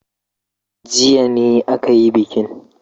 Jiya ne aka yi bikin.